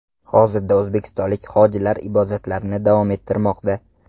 Hozirda o‘zbekistonlik hojilar ibodatlarini davom ettirmoqda.